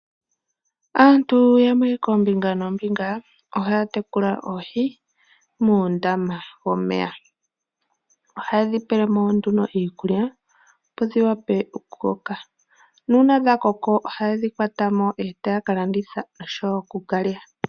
Aantu yamwe koombinga noombinga ohaya tekula oohi muundama womeya. Ohaye dhipele mo nduno iikulya opo dhiwape okukoka, nuuna dhakoko ohaye dhikwata mo e taya kalanditha osho wo okuka lya.